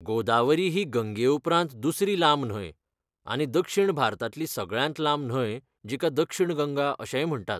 गोदावरी ही गंगे उपरांत दुसरी लांब न्हंय, आनी दक्षिण भारतांतली सगळ्यांत लांब न्हंय जिका 'दक्षिणा गंगा' अशेंय म्हणटात.